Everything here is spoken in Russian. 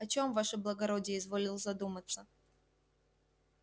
о чём ваше благородие изволил задуматься